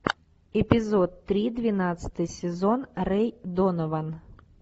эпизод три двенадцатый сезон рэй донован